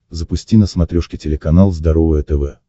запусти на смотрешке телеканал здоровое тв